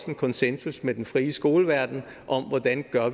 en konsensus med den frie skoleverden om hvordan